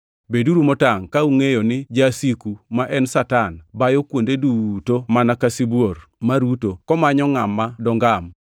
Beduru motangʼ ka ungʼeyo ni jasiku, ma en Satan, bayo kuonde duto mana ka sibuor maruto, komanyo ngʼama dongam.